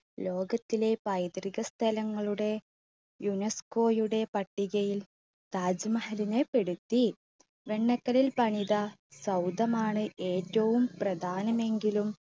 ലോകത്തിലെ പൈതൃക സ്ഥലങ്ങളുടെ യുനെസ്കോയുടെ പട്ടികയിൽ താജ് മഹലിനെ പെടുത്തി. വെണ്ണക്കല്ലിൽ പണിത സൗദമാണ് ഏറ്റവും പ്രധാനമെങ്കിലും